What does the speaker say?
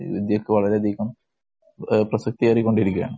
ക്ക് വളരെയധികം പ്രസക്തിയേറിക്കൊണ്ടിരിക്കുകയാണ്‌.